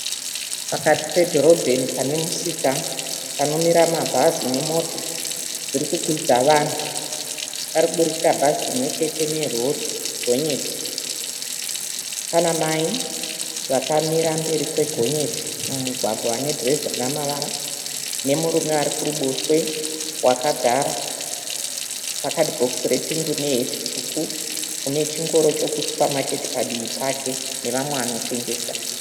Pakati pedhorobheni pane musika panomira mabhazi nemota dzirikukwidza vanhu. Parikubudikira bhazi rimwechete nerori gonyeti. Pana mai vakamira mberi kwegonyeti mumugwagwa vane dhirezi rine mavara nemurume arikuruboshwe wakagara pakadhibhokisi repingi une heti tsvuku une chingoro chokusupamaketi padivi pake nevamwe vanotengesa.